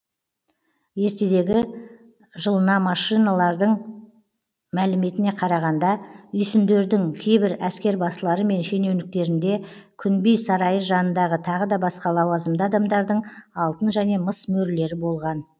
ертедегі жылна машылардың мәліметіне қарағанда үйсіндердің кейбір әскербасылары мен шенеуніктерінде күнби сарайы жанындағы тағы да басқа лауазымды адамдардың алтын және мыс мөрлері болған